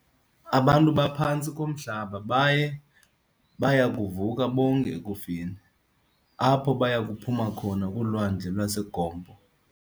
Abantu baphantsi komhlaba, baye beyakuvuka bonke ekufeni, apho bayakuphuma khona kulwandle laseGompo.